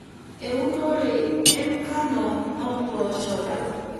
Eunore enkano ompoosho.